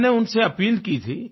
मैंने उनसे अपील की थी